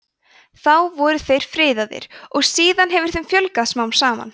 þá voru þeir friðaðir og síðan hefur þeim fjölgað smám saman